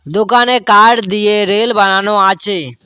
দোকানে কাঠ দিয়ে রেল বানানো আচে।